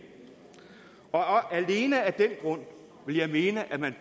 og alene af den grund ville jeg mene at man